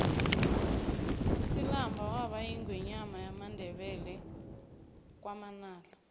usilamba waba yingwenyama yamandebele wakwamanala